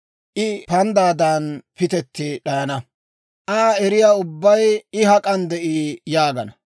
I panddaadan pitetti d'ayana. Aa eriyaa ubbay, ‹I hak'an de'ii?› yaagana.